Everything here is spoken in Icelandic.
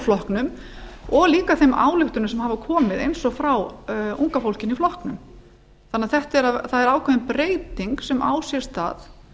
flokknum og líka þeim ályktunum sem hafa komið eins og frá unga fólkinu í flokknum það er ákveðin breyting sem á sér stað